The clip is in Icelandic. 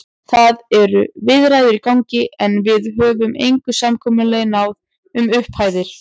Það eru viðræður í gangi, en við höfum engu samkomulagi náð um upphæðir.